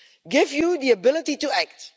Give you the ability to act'.